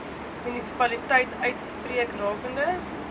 munisipaliteit uitspreek rakende